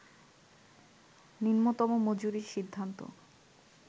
নিম্নতম মজুরির সিদ্ধান্ত